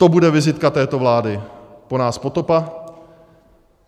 To bude vizitka této vlády - po nás potopa.